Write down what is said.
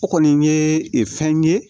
O kɔni ye fɛn ye